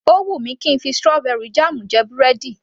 Ó wù mí kí ń fi strawberry jam jẹ búrẹ́dì